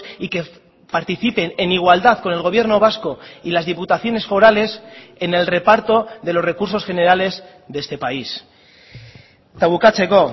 y que participen en igualdad con el gobierno vasco y las diputaciones forales en el reparto de los recursos generales de este país eta bukatzeko